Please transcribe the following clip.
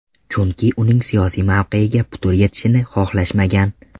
Chunki uning siyosiy mavqeyiga putur yetishini xohlashmagan.